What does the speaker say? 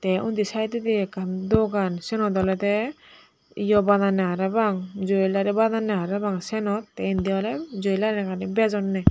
eh undi saidodi ekkan dogan siyenot olode ye jwelary bananne parapang siyenot te indi oley jwelary ani oley bejonne.